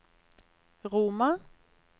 Roma